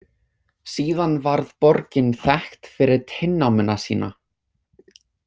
Síðan varð borgin þekkt fyrir tinnámuna sína.